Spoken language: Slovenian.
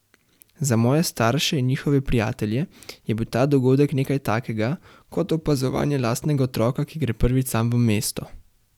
Za moje starše in njihove prijatelje je bil ta dogodek nekaj takega, kot opazovanje lastnega otroka, ki gre prvič sam v mesto.